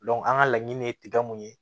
an ka laɲini ye tiga mun ye